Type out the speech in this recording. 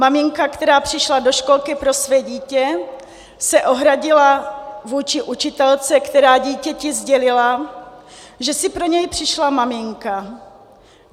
Maminka, která přišla do školky pro své dítě, se ohradila vůči učitelce, která dítěti sdělila, že si pro něj přišla maminka.